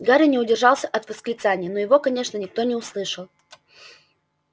гарри не удержался от восклицания но его конечно никто не услышал